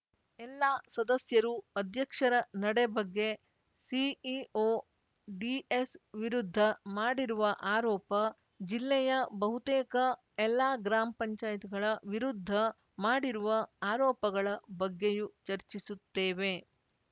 ಎಲ್ಲಾ ಸದಸ್ಯರೂ ಅಧ್ಯಕ್ಷರ ನಡೆ ಬಗ್ಗೆ ಸಿಇಓ ಡಿಎಸ್‌ ವಿರುದ್ಧ ಮಾಡಿರುವ ಆರೋಪ ಜಿಲ್ಲೆಯ ಬಹುತೇಕ ಎಲ್ಲಾ ಗ್ರಾಮ್ಪಂಚಾಯತ್ ಗಳ ವಿರುದ್ಧ ಮಾಡಿರುವ ಆರೋಪಗಳ ಬಗ್ಗೆಯೂ ಚರ್ಚಿಸುತ್ತೇವೆ